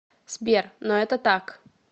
сбер но это так